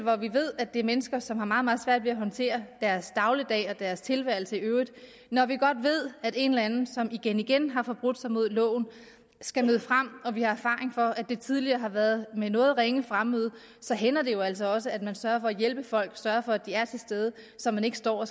hvor vi ved at det er mennesker som har meget meget svært ved at håndtere deres dagligdag og deres tilværelse i øvrigt og når vi godt ved at en eller anden som igen igen har forbrudt sig mod loven skal møde frem og vi har erfaring for at det tidligere har været med noget ringe fremmøde så hænder det jo altså også at man sørger for at hjælpe folk sørger for at de er til stede så man ikke står